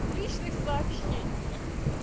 в личных сообщениях